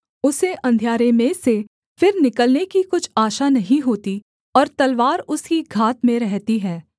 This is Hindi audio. उसे अंधियारे में से फिर निकलने की कुछ आशा नहीं होती और तलवार उसकी घात में रहती है